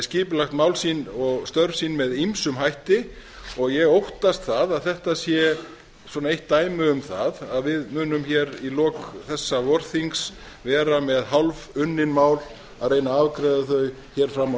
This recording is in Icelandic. skipulagt mál sín og störf sín með ýmsum hætti og ég óttast það að þetta sé eitt dæmi um það að við munum í lok þessa vorþings vera með hálfunnin mál að reyna að afgreiða þau fram á